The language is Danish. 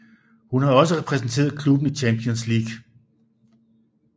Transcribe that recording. Hun har også repræsenteret klubben i Champions League